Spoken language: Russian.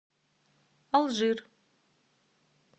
алжир